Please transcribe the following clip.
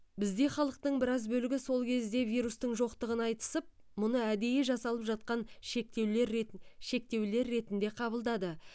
бізде халықтың біраз бөлігі сол кезде вирустың жоқтығын айтысып мұны әдейі жасалып жатқан шектеулер ретін шектеулер ретінде қабылдады